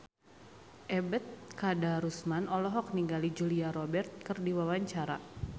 Ebet Kadarusman olohok ningali Julia Robert keur diwawancara